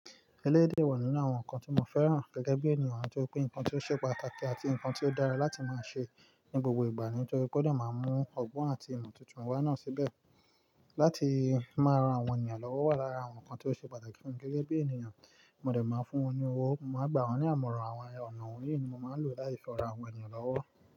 Eleyi de wà nínú àwọn nǹkan tí mo fẹ́ràn gẹ́gẹ́ bí ènìyàn atipe ǹkan tí ó ṣe pàtàkì àti ǹkan tí ó dára láti máa ṣe ní gbogbo ìgbà, nítorí pé ó de máa mú ọgbọ́n àti ìmọ̀ tuntun wá náà síbẹ̀. Láti máa ran àwọn ènìyàn lọ́wọ́ wà lára àwọn nǹkan tí ó ṣe pàtàkì fún mi gẹ́gẹ́ bí ènìyàn, mo dẹ̀ máa ń fún wọn ní owó, màá gbà wọ́n ní àmọ̀ràn, àwọn ọ̀nà wọ̀nyí ni màá ń lò láti fi ran àwọn ènìyàn lọ́wọ́.